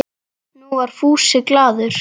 Nú var Fúsi glaður.